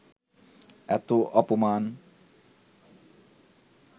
এত অপমান